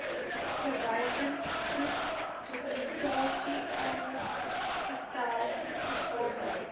verwysingsgroep dokumentasiesaamgestel vergaderings